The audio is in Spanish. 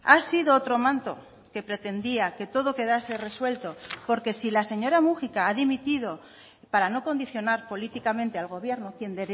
ha sido otro manto que pretendía que todo quedase resuelto porque si la señora múgica ha dimitido para no condicionar políticamente al gobierno quien